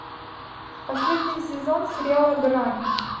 последний сезон сериала грань